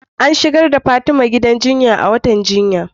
An shigar da Fatima gidan jinya a wattan jinya